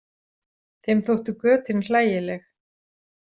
Þeim þóttu götin hlægileg.